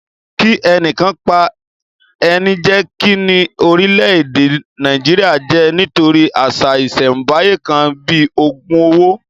Kí ẹnìkan pa ẹnìjèkì ní orílẹ̀-èdè Nàìjíríà jẹ́ nítorí àṣà ìsẹ̀ńbáyé kan bíi ògùn owó